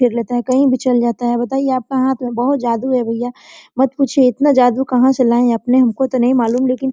फिर लेता है कहीं भी चल जाता है बताइए आप हाथ में बहुत जादू है भैया मत पूछिय इतना जादू कहां से लाये आपने हमको तो नहीं मालूम लेकिन --